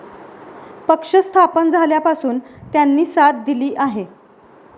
पक्ष स्थापन झाल्यापासून त्यांनी साथ दिली आहे.